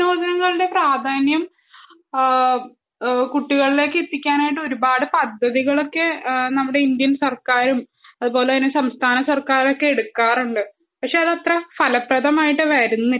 കായികവിനോദങ്ങളുടെ പ്രാധാന്യം കുട്ടികളിലേക്ക് എത്തിക്കാനായിട്ടു ഒരുപാട് പദ്ധതികളൊക്കെ നമ്മുടെ ഇന്ത്യൻ സർക്കാരും അതുപോലെ സംസ്ഥാന സർക്കാരൊക്കെ എടുക്കാറുണ്ട് പക്ഷെ അത് അത്ര ഫലപ്രദമായിട്ട് വരുന്നില്ല